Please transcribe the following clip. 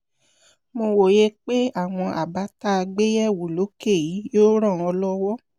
mo wòye pé àwọn àbá tá a gbé yẹ̀wò lókè yìí yóò ràn ọ́ lọ́wọ́